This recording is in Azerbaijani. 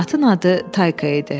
Atın adı Tayka idi.